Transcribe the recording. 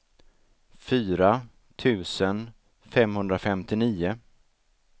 fyra tusen femhundrafemtionio